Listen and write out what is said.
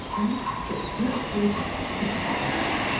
Vicdan köksünü ötürüb üfüqlərə baxdı.